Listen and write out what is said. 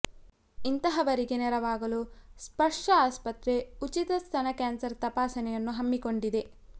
ಇಂತಹವರಿಗೆ ನೆರವಾಗಲು ಸ್ಪರ್ಷ ಆಸ್ಪತ್ರೆ ಉಚಿತ ಸ್ತನ ಕ್ಯಾನ್ಸರ್ ತಪಾಸಣೆಯನ್ನು ಹಮ್ಮಿಕೊಂಡಿದೆ